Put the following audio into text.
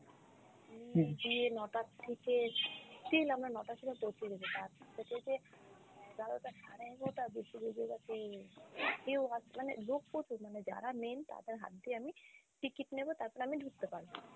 নিয়ে গিয়ে নটা থেকে still আমরা নটায় সেখানে পৌছে গেছি তার থেকে যে এগারোটা সাড়ে এগারোটার বেশি বেজে গেছে কেউ আস~ মানে লোক প্রচুর মানে যারা main তাদের হাত দিয়ে আমি ticket নেব তারপর আমি ঢুকতে পারবো ।